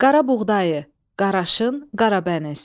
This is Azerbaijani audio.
Qarabuğdayı, qaraşın, qaradənis.